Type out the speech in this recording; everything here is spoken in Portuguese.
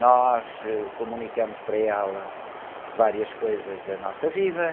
Nós, ãh, comunicamos para ela várias coisas da nossa vida.